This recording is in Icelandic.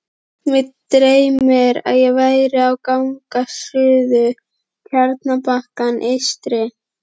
Mig dreymdi, að ég væri á gangi suður Tjarnarbakkann eystri.